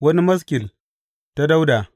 Wani maskil ta Dawuda.